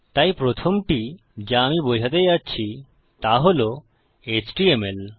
তাই প্রথমটি যা আমি বোঝাতে যাচ্ছি তা হল এচটিএমএল